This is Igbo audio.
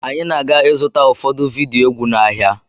Anyị na-aga ịzụta ụfọdụ vidiyo egwu n'ahịa.